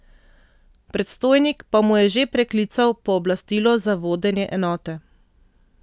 Predstojnik pa mu je že preklical pooblastilo za vodenje enote.